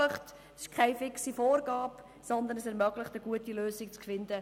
Es ist keine fixe Vorgabe, sondern diese ermöglicht, in Verhandlungen eine gute Lösung zu finden.